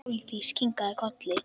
Sóldís kinkaði kolli.